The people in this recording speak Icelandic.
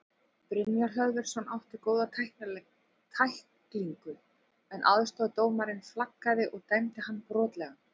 Brynjar Hlöðversson átti góða tæklingu en aðstoðardómarinn flaggaði og dæmdi hann brotlegan.